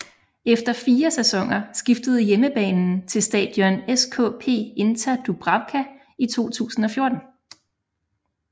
Efer fire sæsoner skiftede hjemmebanen til Štadión ŠKP Inter Dúbravka i 2014